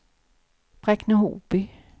Bräkne-Hoby